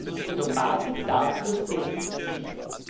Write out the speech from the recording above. Nur die Automatik dafür sehe ich nicht.